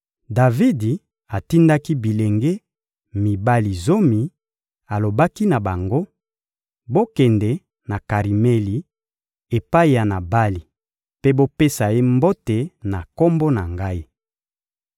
Davidi atindaki bilenge mibali zomi, alobaki na bango: «Bokende na Karimeli epai ya Nabali mpe bopesa ye mbote na kombo na ngai.